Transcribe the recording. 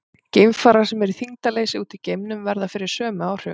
Geimfarar sem eru í þyngdarleysi úti í geimnum verða fyrir sömu áhrifum.